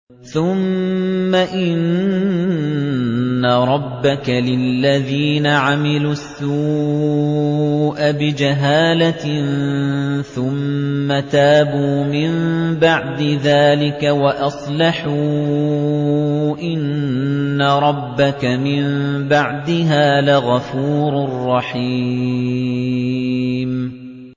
ثُمَّ إِنَّ رَبَّكَ لِلَّذِينَ عَمِلُوا السُّوءَ بِجَهَالَةٍ ثُمَّ تَابُوا مِن بَعْدِ ذَٰلِكَ وَأَصْلَحُوا إِنَّ رَبَّكَ مِن بَعْدِهَا لَغَفُورٌ رَّحِيمٌ